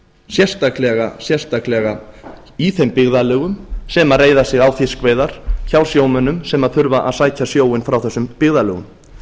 er sérstaklega í þeim byggðarlögum sem reiða sig á fiskveiðar hjá sjómönnum sem þurfa að sækja sjóinn frá þessum byggðarlögum